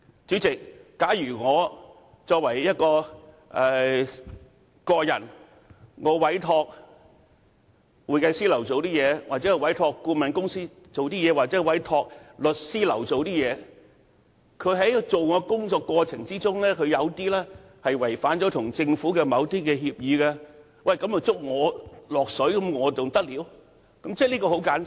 主席，假如我個人委託會計師樓，又或是委託顧問公司、律師樓處理我的事務，他們在處理我的事務的過程中，違反跟政府的某些協議，而我竟要因此被拖累，這還得了？